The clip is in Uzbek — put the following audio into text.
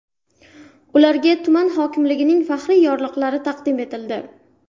Ularga tuman hokimligining faxriy yorliqlari taqdim etildi.